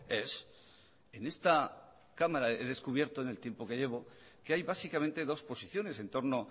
ez en esta cámara he descubierto en el tiempo que llevo que hay básicamente dos posiciones en torno